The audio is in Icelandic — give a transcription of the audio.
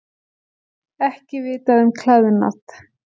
Ekki vitað um klæðnað